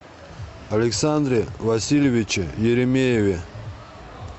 александре васильевиче еремееве